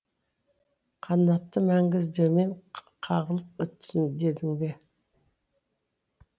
қанаты мәңгі іздеумен қағылып өтсін дедің бе